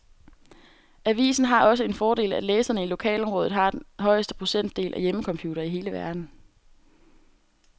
Avisen har også den fordel, at læserne i lokalområdet har den højeste procentdel af hjemmecomputere i hele verden.